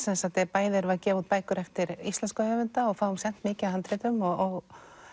bæði erum við að gefa út bækur eftir íslenska höfunda og fáum sent mikið af handritum og